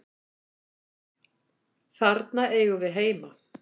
Þarna eigum við heima.